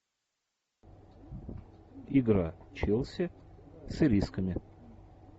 игра челси с ирисками